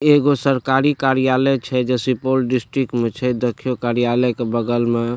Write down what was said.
एगो सरकारी कार्यालय छे जे सुपोल डिस्ट्रिक्ट में छे देखयो कार्यलय के बगल मअ।